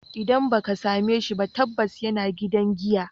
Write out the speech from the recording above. Idan ba ka same shi ba, tabbas yana gidan giya.